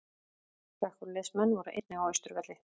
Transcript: Slökkviliðsmenn voru einnig á Austurvelli